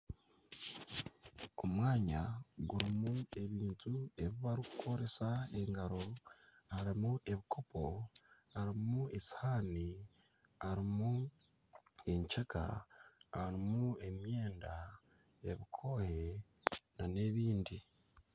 Omwanya gurimu ebintu ebi barikukoresa engaro. Harimu ebikopo, harimu esihaani, harimu enkyeka, harimu emyenda ebikooye n'ebindi.